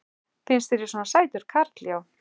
Finnst þér ég svona sætur karl já.